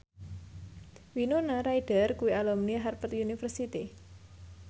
Winona Ryder kuwi alumni Harvard university